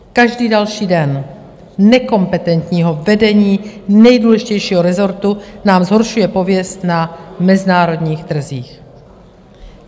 Každý další den nekompetentního vedení nejdůležitějšího rezortu nám zhoršuje pověst na mezinárodních trzích.